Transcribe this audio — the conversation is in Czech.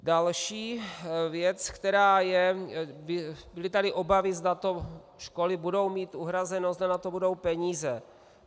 Další věc, která je - byly tady obavy, zda to školy budou mít uhrazeno, zda na to budou peníze.